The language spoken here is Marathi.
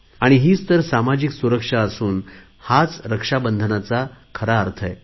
हीच तर सामाजिक सुरक्षा असून हाच रक्षाबंधनाचा खरा अर्थ आहे